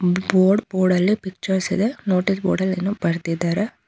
Board ಬೋರ್ಡಲ್ಲಿ pictures ಇದೆನೋಟಿಸ್ board ಅಲ್ಲಿ ಏನೋ ಬರ್ದಿದರೆ .